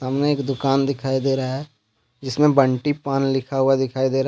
सामने एक दुकान दिखाई दे रहा है जिसमें बंटी पान लिखा हुआ दिखाई दे रहा है।